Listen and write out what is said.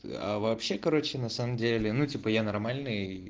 а вообще короче на самом деле ну типа я нормальный